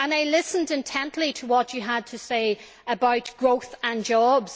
I listened intently to what you had to say about growth and jobs.